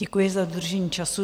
Děkuji za dodržení času.